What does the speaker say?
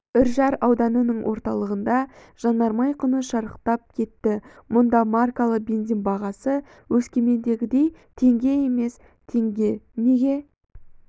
үржар ауданының орталығында жанармай құны шарықтап кетті мұнда маркалы бензин бағасы өскемендегідей теңге емес теңге неге